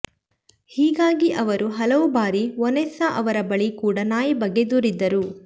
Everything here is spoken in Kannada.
ಹೀಗಾಗಿ ಅವರು ಹಲವು ಬಾರಿ ವನೆಸ್ಸಾ ಅವರ ಬಳಿ ಕೂಡ ನಾಯಿ ಬಗ್ಗೆ ದೂರಿದ್ದರು